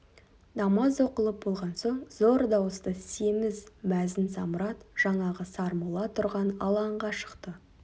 намаз оқылып болған соң зор дауысты семіз мәзін самұрат жаңағы сармолла тұрған алаңға шықты